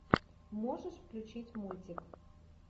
можешь включить мультик